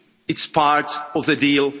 It's part of the deal.